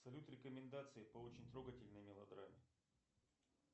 салют рекомендации по очень трогательной мелодраме